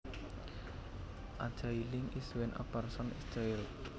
A jailing is when a person is jailed